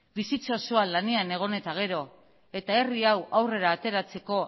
bizitza osoa lanean egon eta gero eta herri hau aurrera ateratzeko